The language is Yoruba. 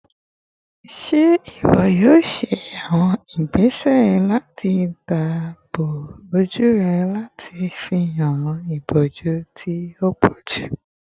Ṣe iwọ yoo ṣe awọn igbese lati daabobo oju rẹ lati ifihan iboju ti o pọju?